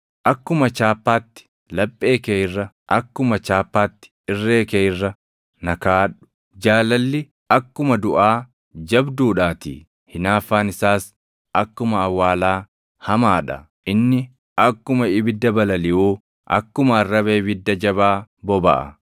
Akkuma chaappaatti laphee kee irra, akkuma chaappaatti irree kee irra na kaaʼadhu; jaalalli akkuma duʼaa jabduudhaatii; hinaaffaan isaas akkuma awwaalaa hamaa dha. Inni akkuma ibidda balaliʼuu, akkuma arraba ibidda jabaa bobaʼa.